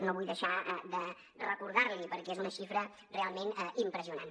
no vull deixar de recordar l’hi perquè és una xifra realment impressionant